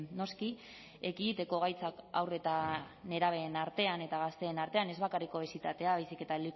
noski ekiditeko gaitzak haur eta nerabeen artean eta gazteen artean ez bakarrik obesitatea baizik eta